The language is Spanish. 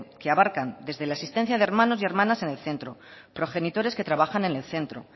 que abarcan desde la asistencia de hermanos y hermanas en el centro progenitores que trabajan en el centro